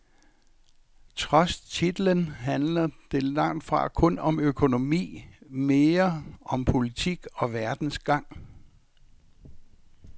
Trods titlen handler det langt fra kun om økonomi, mere om politik og verdens gang.